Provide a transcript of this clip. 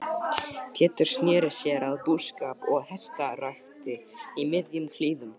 Pétur sneri sér að búskap og hestarækt í miðjum klíðum.